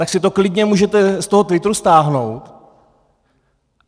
Tak si to klidně můžete z toho Twitteru stáhnout.